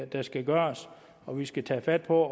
der skal gøres og vi skal tage fat på